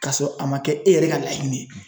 K'a sɔrɔ a ma kɛ e yɛrɛ ka laɲini ye